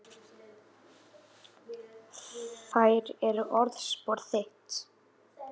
Þær eru orðspor þitt.